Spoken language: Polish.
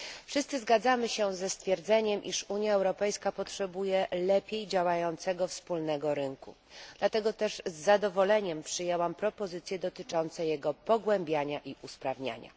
Wszyscy zgadzamy się ze stwierdzeniem, iż Unia Europejska potrzebuje lepiej działającego wspólnego rynku, dlatego też z zadowoleniem przyjęłam propozycje dotyczące jego pogłębiania i usprawniania.